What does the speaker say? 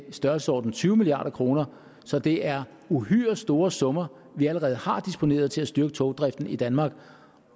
størrelsesordenen tyve milliard kroner så det er uhyre store summer vi allerede har disponeret til at styrke togdriften i danmark